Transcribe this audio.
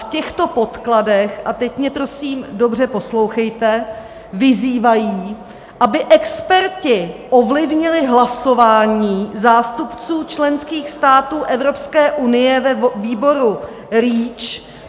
V těchto podkladech - a teď mě prosím dobře poslouchejte - vyzývají, aby experti ovlivnili hlasování zástupců členských států Evropské unie ve výboru REACH.